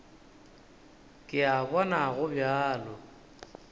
ke a bona go bjalo